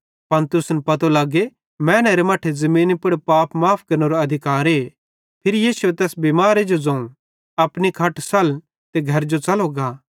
कुन ज़ोनू सुखतुए तेरे पाप माफ़ भोए या एन ज़ोनू उठ ते च़ल फिर